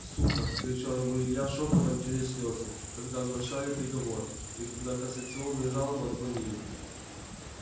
сука кричал ему илья шёпотом через слезы когда оглашали приговор и когда кассационную жалобу отклонили